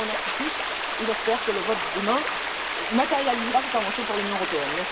Je vous remercie tous et j'espère que le vote demain matérialisera cette avancée pour l'Union européenne.